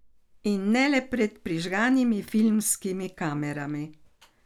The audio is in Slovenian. In ne le pred prižganimi filmskimi kamerami.